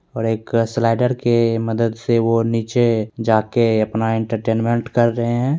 और एक स्लाइडर के मदद से वो नीचे जा कर अपना एंटरटेनमेंट कर रहे हैं।